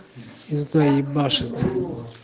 за то ебашит